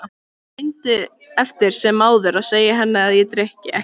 Ég reyndi eftir sem áður að segja henni að ég drykki ekki.